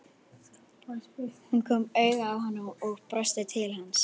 Hún kom auga á hann og brosti til hans.